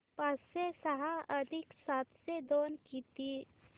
पाचशे सहा अधिक सातशे दोन किती